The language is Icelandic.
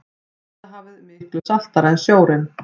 dauðahafið er miklu saltara en sjórinn